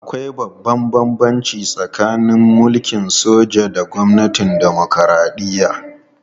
Akwai babban bambanci tsakanin mulkin soja da gwamnatin dimokuradiyya